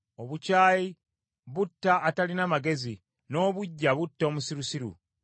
Obukyayi butta atalina magezi, n’obuggya butta omusirusiru.